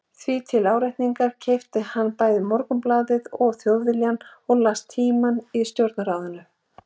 Því til áréttingar keypti hann bæði Morgunblaðið og Þjóðviljann og las Tímann í stjórnarráðinu.